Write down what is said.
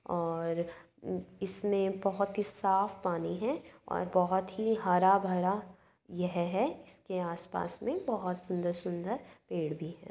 और इसमें बोहोत ही साफ पानी है और बोहोत ही हरा भरा यह है। इसके आसपास में बोहोत सुंदर-सुंदर पेड़ भी हैं।